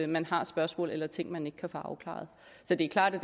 man har et spørgsmål eller ting man ikke kan få afklaret så det er klart at